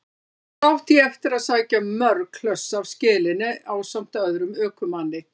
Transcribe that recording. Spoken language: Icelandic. Þangað átti ég eftir að sækja mörg hlöss af skelinni ásamt öðrum ökumanni.